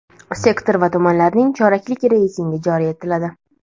sektor va tumanlarning choraklik reytingi joriy etiladi.